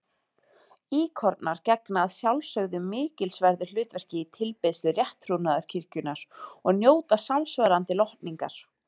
Íkonar gegna að sjálfsögðu mikilsverðu hlutverki í tilbeiðslu rétttrúnaðarkirkjunnar og njóta samsvarandi lotningar.